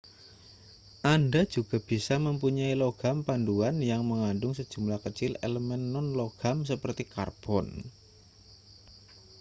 anda juga bisa mempunyai logam paduan yang mengandung sejumlah kecil elemen non-logam seperti karbon